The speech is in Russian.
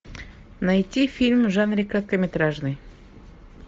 найти фильм в жанре короткометражный